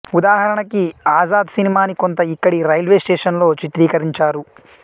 ఉదాహరణకి ఆజాద్ సినిమాని కొంత ఇక్కడి రైల్వేస్టేషన్ లో చిత్రీకరించారు